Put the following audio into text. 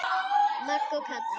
Magga og Kata.